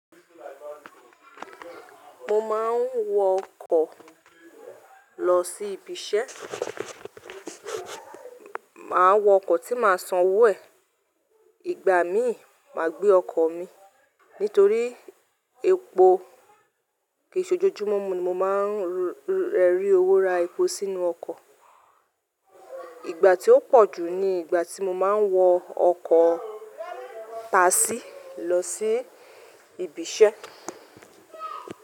Mo máa ń wọ ọkọ̀ lọ sí ibi iṣẹ́. Mà á wọ ọkọ̀ tí máa san owó ẹ̀. Ìgbà míì, mà á gbé ọkọ̀ mi. Nítorí epo kì í ṣe ojoojúmọ́ mo máa ń ri owó ra epo sínú ọkọ̀. Ìgbà tí ó pọ̀ jù ni ìgbà tí mo máa ń wọ ọkọ̀ Tàṣí lọ sí ibi iṣẹ́.